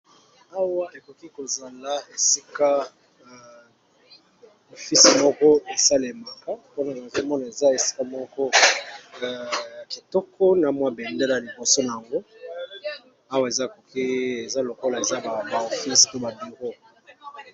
Awa ekoki ko zala esika ya oficr moko e salemaka pona nage mona eza esika moko a kitoko na mwa bendele ya liboso na yango awa eza côte eza lokola eza ba ofice pe ba bureau .